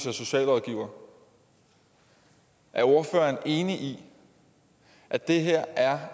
er socialrådgiver er ordføreren enig i at det her er